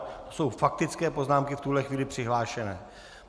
To jsou faktické poznámky v tuhle chvíli přihlášené.